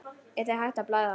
Er þér hætt að blæða?